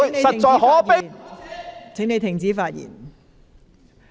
陸頌雄議員，請停止發言。